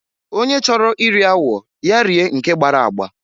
Onye chọrọ iri awọ ya rie nke gbara agba.